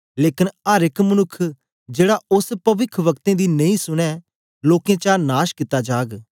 लेकन अर एक मनुक्ख जेड़ा ओस पविखवक्तें दी नेई सनें लोकें चा नाश कित्ता जाग